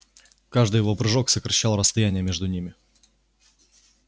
каждый его прыжок сокращал расстояние между ними